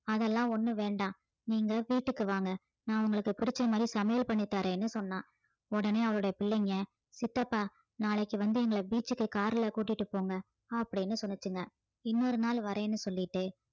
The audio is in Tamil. அதெல்லாம் ஒண்ணும் வேண்டாம் நீங்க வீட்டுக்கு வாங்க நான் உங்களுக்கு பிடிச்ச மாதிரி சமையல் பண்ணித் தர்றேன்னு சொன்னா உடனே அவருடைய பிள்ளைங்க சித்தப்பா நாளைக்கு வந்து எங்களை beach க்கு car ல கூட்டிட்டு போங்க அப்படின்னு சொன்னுச்சுங்க இன்னொரு நாள் வர்றேன்னு சொல்லிட்டு